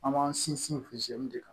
An b'an sinsin de kan